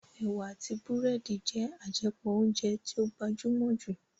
Ẹ̀wà àti búrẹ́dì jẹ́ àjẹpọ̀ óúnjẹ tí ó gbajúmọ̀ jù